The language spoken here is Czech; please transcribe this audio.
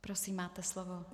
Prosím máte slovo.